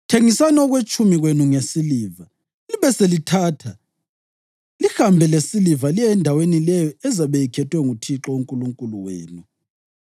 thengisani okwetshumi kwenu ngesiliva, libe selithatha lihambe lesiliva liye endaweni leyo ezabe ikhethwe nguThixo uNkulunkulu wenu.